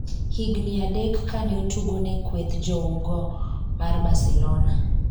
higni adek kane otugo ne kweth jougo mar Barcelona